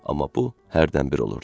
Amma bu hərdən bir olurdu.